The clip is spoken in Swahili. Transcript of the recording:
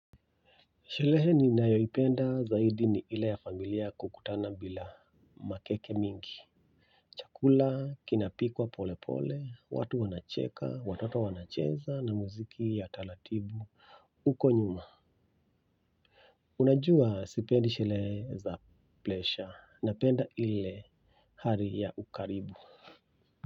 Sherehe ninayoipenda zaidi ni ile ya familia kukutana bila makeke mingi chakula kinapikwa polepole watu wanacheka watoto wanacheza na muziki ya taratibu huko nyuma unajua sipendi sherehe za presha napenda ile hali ya ukaribu.